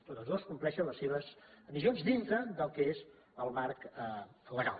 totes dues compleixen les se·ves missions dintre del que és el marc legal